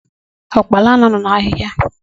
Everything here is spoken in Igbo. Ụkpala na-anọ n'ahịhịa.